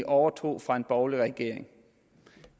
overtog fra den borgerlige regering